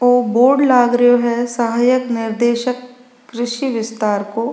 ओ बोर्ड लाग रो है सहायक निर्देशक कृषि बिस्तार को।